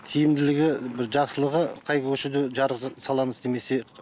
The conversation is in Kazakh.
тиімділігі бір жақсылығы қай көшеге жарық саламыз демесе